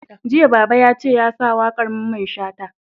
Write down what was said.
Jiya Baba yace ya sa waƙar Mamman Shata!